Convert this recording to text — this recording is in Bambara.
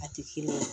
A tɛ kelen ye